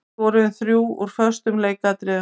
Við skoruðum þrjú úr föstum leikatriðum.